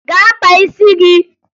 Gaa kpaa isi gị!